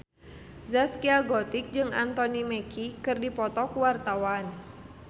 Zaskia Gotik jeung Anthony Mackie keur dipoto ku wartawan